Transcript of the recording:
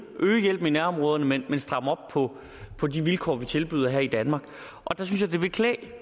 øge hjælpen i nærområderne men stramme op på på de vilkår vi tilbyder her i danmark og der synes